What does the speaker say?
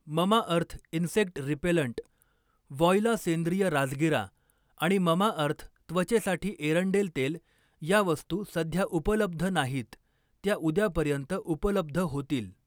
Mamaearth insect repellent, voila सेंद्रिय राजगिरा आणि ममाअर्थ त्वचेसाठी एरंडेल तेल या वस्तू सध्या उपलब्ध नाहीत, त्या उद्यापर्यंत उपलब्ध होतील.